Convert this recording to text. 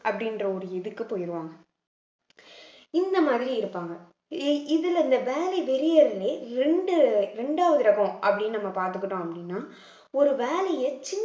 அப்படின்ற ஒரு இதுக்கு போயிடுவாங்க இந்த மாதிரி இருப்பாங்க இ~ இதுல இந்த வேலை வெறியர்களே இரண்டு இரண்டாவது ரகம் அப்படின்னு நம்ம பார்த்துக்கிட்டோம் அப்படின்னா ஒரு வேலையை சின்~